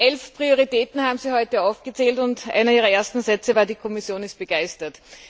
Elf Prioritäten haben Sie heute aufgezählt, und einer Ihrer ersten Sätze war Die Kommission ist begeistert.